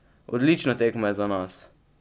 Odlična tekma za nas!